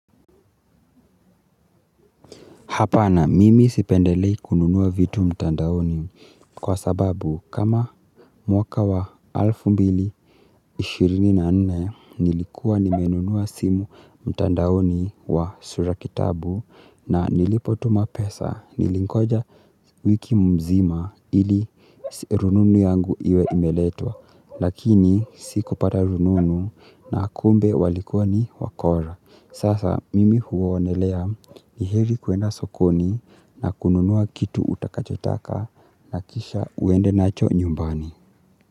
Hapa na mimi sipendelei kununuwa vitu mtandaoni kwa sababu kama mwaka wa alfu mbili ishirini na nne nilikuwa nimenunuwa simu mtandaoni wa sura kitabu na nilipo tuma pesa nilingoja wiki mzima ili rununu yangu iwe imeletwa. Lakini sikupata rununu na kumbe walikuwa ni wakora. Sasa mimi huonelea ni heri kuenda sokoni na kununua kitu utakachotaka na kisha uende nacho nyumbani.